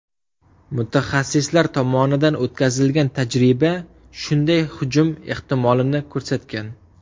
Mutaxassislar tomonidan o‘tkazilgan tajriba shunday hujum ehtimolini ko‘rsatgan.